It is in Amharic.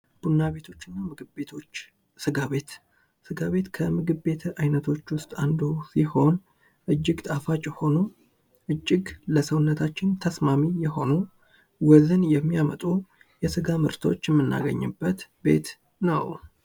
ቡና ቤቶች እና ምግብ ቤቶች፦ ስጋ ቤት ከምግብ ቤት አይነቶች ውስጥ አንዱ ሲሆን እጅግ ጣፋጭ የሆኑ እጅግ ለሰውነታችን ተስማሚ የሆኑ ወዝን የሚያመጡ የስጋ ምርቶች የምናገኝበት ቤት ነው።